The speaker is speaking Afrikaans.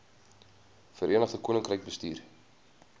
verenigde koninkryk bestuur